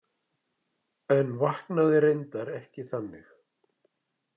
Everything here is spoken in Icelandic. En vaknaði reyndar ekki þannig.